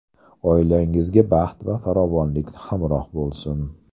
Oilangizga baxt va farovonlik hamroh bo‘lsin!